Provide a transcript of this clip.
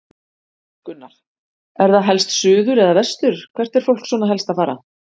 Gunnar: Er það helst suður eða vestur, hvert er fólk svona helst að fara?